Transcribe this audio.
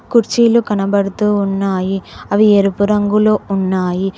కుర్చీలు కనబడుతూ ఉన్నాయి అవి ఎరుపు రంగులో ఉన్నాయి.